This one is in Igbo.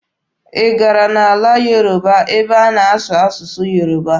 Ị gara n'ala Yoruba ebe a na-asụ asụsụ Yoruba?